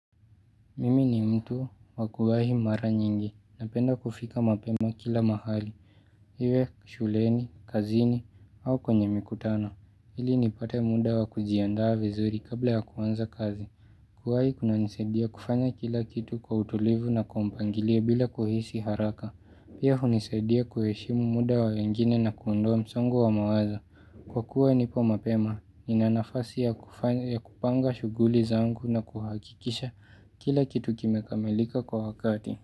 Mimi ni mtu wa kuwahi mara nyingi napenda kufika mapema kila mahali. Iwe shuleni, kazini au kwenye mikutano. Ili nipate muda wa kujiandaa vizuri kabla ya kuanza kazi. Kuwahi kunanisaidia kufanya kila kitu kwa utulivu na kwa mpangilio bila kuhisi haraka. Pia hunisadia kuheshimu muda wa wengine na kuondoa msongo wa mawaza. Kwa kuwa nipo mapema, nina nafasi ya kupanga shuguli zangu na kuhakikisha kila kitu kimekamelika kwa wakati.